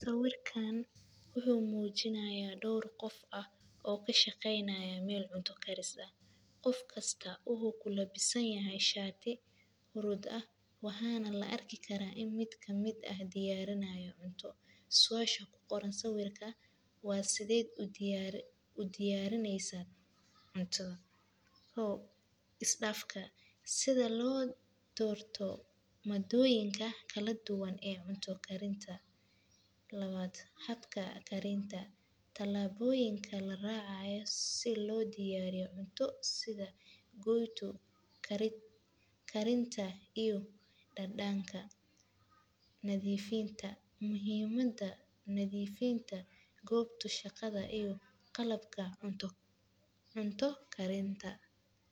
Sawirkan wuxuu mujinayaa dor qof ah o kashaqeynayo meel cunto karis ah, qof kastaa wuxuu ku labisanyahay sharti hurud ah, waxana laarkaya ini miid kamiid ah diyarinyo cunto, suasha ku qoran sawirka waa sideed u diyaarisaa cunto, kow isdafka, sidaa lo Dorto madoyinka kala duwan ee cunta karintaa, lawad habka karintaa, talaboyinka laracaya sidha lo diyariyo cunta goyto, karintaa karintaa iyo dadanka ,nadifintaa, muhiim maada nadifada gobtaa qobta shaqada iyo qalabkaa cunto karintaa.